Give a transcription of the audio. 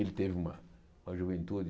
Ele teve uma uma juventude...